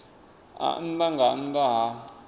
a nnḓa nga nnḓa ha